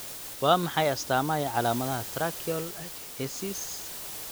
Waa maxay astaamaha iyo calaamadaha Tracheal agenesis?